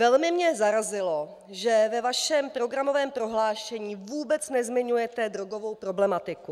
Velmi mě zarazilo, že ve vašem programovém prohlášení vůbec nezmiňujete drogovou problematiku.